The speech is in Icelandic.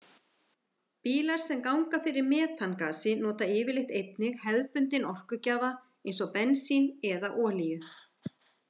Bílar sem ganga fyrir metangasi nota yfirleitt einnig hefðbundinn orkugjafa eins og bensín eða olíu.